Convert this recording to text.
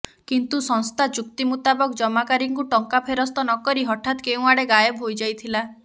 କିନ୍ତୁ ସଂସ୍ଥା ଚୁକ୍ତି ମୁତାବକ ଜମାକାରୀଙ୍କୁ ଟଙ୍କା ଫେରସ୍ତ ନ କରି ହଠାତ କେଉଁଆଡ଼େ ଗାଏବ ହୋଇଯାଇଥିଲା